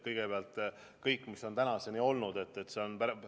Kõigepealt kõik, mis on tänaseni tehtud.